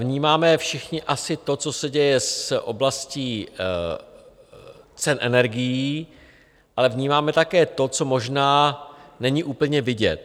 Vnímáme všichni asi to, co se děje v oblasti cen energií, ale vnímáme také to, co možná není úplně vidět.